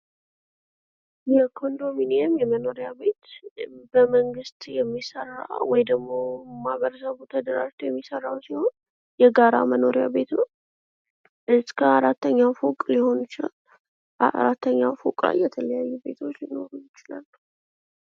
የኮንዶሚኒየም የመኖሪያ ቤት በመንግስት የሚሠራ ወይም ደግሞ ማህበረሰቡ ተደራጅቶ የሚሰራው ሲሆን የጋራ መኖርያ ቤት ነው እስከ አራተኛ ድረስ ሊይዝ ይችላል። አራተኛ ፎቅ ላይ የተለያዩ ቤቶች ሊኖሩ ይችላሉ።